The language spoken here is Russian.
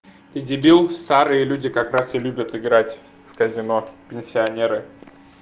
ты дебил старые люди как раз и любят играть в казино пенсионеры